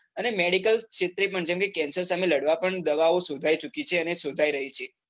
અને medical ક્ષેત્રે પણ જેમ કે cancer સામે લડવા પણ દવાઓ શોધાઈ ચુકી છે અને શોધાઈ રહી છે.